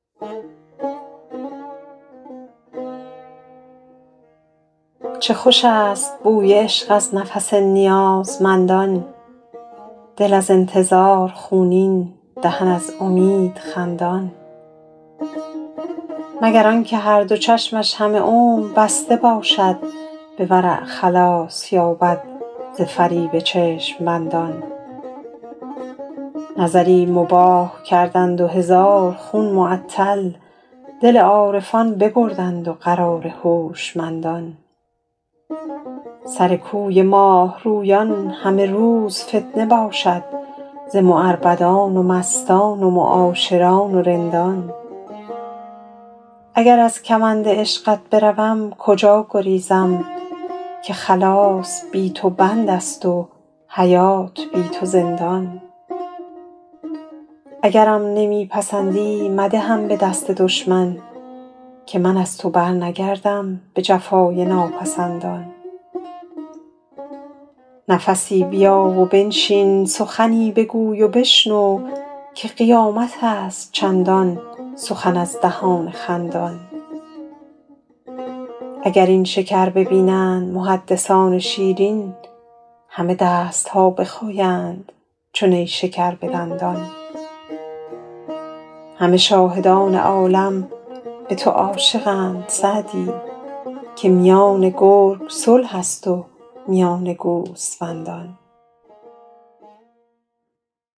چه خوش است بوی عشق از نفس نیازمندان دل از انتظار خونین دهن از امید خندان مگر آن که هر دو چشمش همه عمر بسته باشد به ورع خلاص یابد ز فریب چشم بندان نظری مباح کردند و هزار خون معطل دل عارفان ببردند و قرار هوشمندان سر کوی ماه رویان همه روز فتنه باشد ز معربدان و مستان و معاشران و رندان اگر از کمند عشقت بروم کجا گریزم که خلاص بی تو بند است و حیات بی تو زندان اگرم نمی پسندی مدهم به دست دشمن که من از تو برنگردم به جفای ناپسندان نفسی بیا و بنشین سخنی بگوی و بشنو که قیامت است چندان سخن از دهان خندان اگر این شکر ببینند محدثان شیرین همه دست ها بخایند چو نیشکر به دندان همه شاهدان عالم به تو عاشقند سعدی که میان گرگ صلح است و میان گوسفندان